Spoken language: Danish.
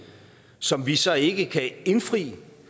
som vi så ikke kan indfri